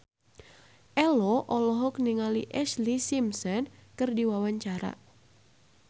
Ello olohok ningali Ashlee Simpson keur diwawancara